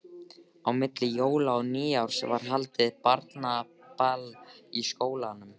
Á milli jóla og nýjárs var haldið barnaball í skólanum.